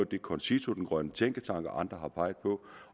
det concito den grønne tænketank og andre har peget på